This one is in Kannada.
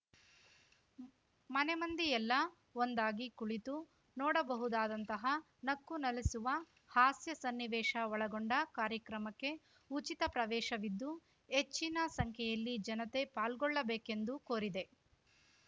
ಮನೆಮಂದಿಯೆಲ್ಲ ಒಂದಾಗಿ ಕುಳಿತು ನೋಡಬಹುದಾದಂತಹ ನಕ್ಕುನಲಿಸುವ ಹಾಸ್ಯ ಸನ್ನಿವೇಶ ಒಳಗೊಂಡ ಕಾರ್ಯಕ್ರಮಕ್ಕೆ ಉಚಿತ ಪ್ರವೇಶವಿದ್ದು ಹೆಚ್ಚಿನ ಸಂಖ್ಯೆಯಲ್ಲಿ ಜನತೆ ಪಾಲ್ಗೊಳ್ಳಬೇಕೆಂದು ಕೋರಿದೆ